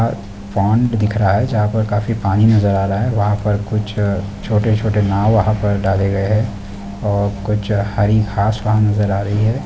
यहां पोंड दिख रहा है जहां पर काफी पानी नजर आ रही है वहा पर कुछ छोटे-छोटे नाव वहा पर डाली गई है और कुछ हरी घास वहा नजर आ रही है।